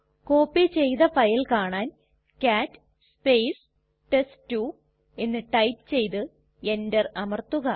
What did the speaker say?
copy ചെയ്തു file കാണാൻ cat test two എന്ന് ടൈപ്പ് ചെയ്തു എന്റർ അമർത്തുക